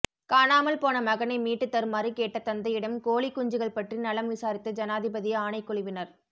காணாமல் போன மகனை மீட்டுத் தருமாறு கேட்ட தந்தையிடம் கோழிக் குஞ்சுகள் பற்றி நலம் விசாரித்த ஜனாதிபதி ஆணைக்குழுவினர்